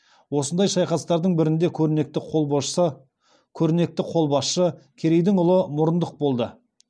осындай шайқастардың бірінде көрнекті қолбасшы керейдің ұлы мұрындық болды